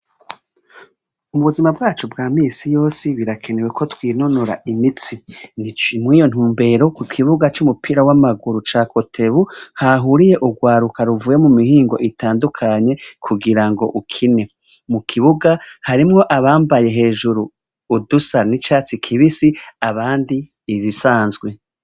Ubuzima bwacu bwa misi yose, birakenewe ko twinonora imitsi, biciye muriyo ntumbero ku kibuga c'umupira w'amaguru ca kotebu, hahuriye urwaruka ruvuye mu mihingo itandukanye kugirango ukine, mu kibuga harimwo abambaye hejuru udusa n'icatsi kibisi, abandi izisanzwe.